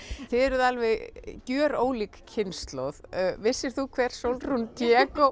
þið eruð alveg gjörólík kynslóð vissir þú hver Sólrún